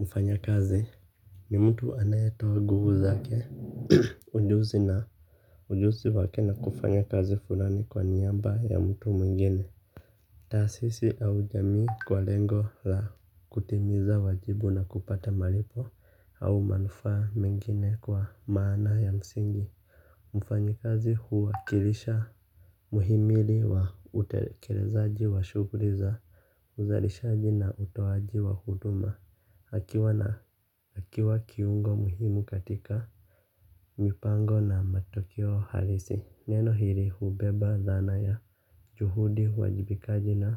Mfanya kazi nimtu anayetua guvu zake ujuzi na ujuzi wake na kufanya kazi fulani kwa nyaba ya mtu mingine. Tasisi au jamii kwa lengo la kutimiza wajibu na kupata malipo au manufaa mingine kwa maana ya msingi. Mfanya kazi huwa kilisha. Muhimili wa utekelezaaji wa shuguli za huzarishaji na utowaji wa huduma. Hakiwa na akiwa kiungo muhimu katika mipango na matokeoa halisi neno hili hubeba dhana na juhudi ya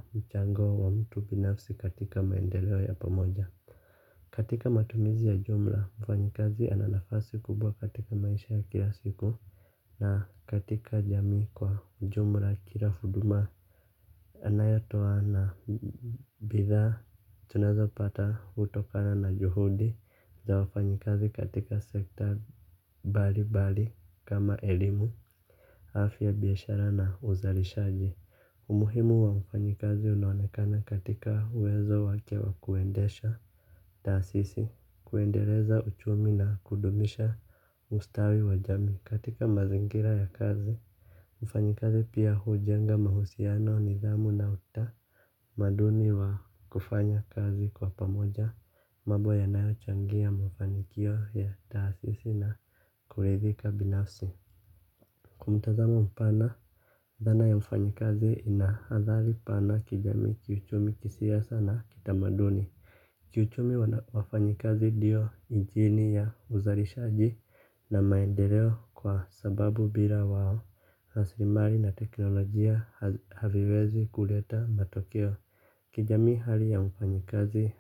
ubinafsi katika maendeleo ya paomoja. Katika matumizi ya jumla mfanyikazi ananafasi kubwa katika maisha ya kila siku. Na katika jamii kwa jumla kila huduma anaya toa na bidha tunazo pata utokana na juhudi za wafanyikazi katika sekta bali bali kama elimu afya biyashara na uzalishaji. Umuhimu wa mfanyikazi unaonekana katika uwezo wake wa kuendesha tasisi kuendeleza uchumi na kudumisha ustawi wa jamii katika mazingira ya kazi. Mfanyikazi pia hujenga mahusiano nidhamu na uta maduni wa kufanya kazi kwa pamoja mabo ya nayo changia mafanikio ya taasisi na kuridhika binafsi. Kwa mtazamo mpana, dhana ya mfanyikazi inaadhali pana kijami kiuchumi kisiasa na kita maduni. Kiuchumi wafanyikazi diyo injini ya uzarishaji na maendeleo kwa sababu bila wao haslimari na teknolojia haviwezi kuleta matokeo kijamii hali ya mfanyi kazi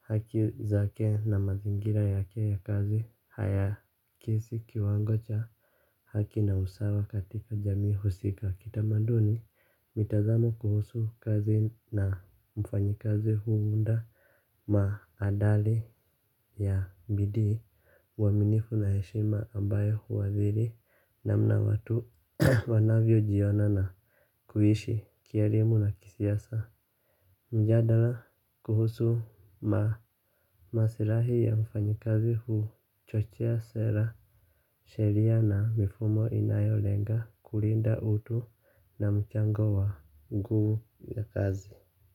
haki zakew na mazingira yake ya kazi haya kisi kiwango cha haki na usawa katika jamii husika. Kitamanduni mitazamo kuhusu kazi na mfanyikazi huunda maadali ya bidii wa minifu na heshima ambayo huwaziri na mna watu wanavyo jiona na kuhishi kielimu na kisiasa. Mjadala kuhusu ma masirahi ya mfanyikazi huchochea sera sheria na mifumo inayo lenga kulinda utu na mchango wanguu ya kazi.